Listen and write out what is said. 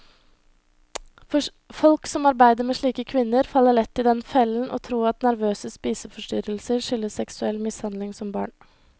Folk som arbeider med slike kvinner, faller lett i den fellen å tro at nervøse spiseforstyrrelser skyldes seksuell mishandling som barn.